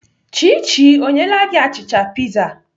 Chichi ọ nyeela gị achịcha piza?